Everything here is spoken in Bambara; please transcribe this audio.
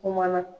Kumana